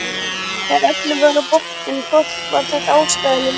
Þegar öllu var á botninn hvolft var þetta ástæðulaus taugaveiklun.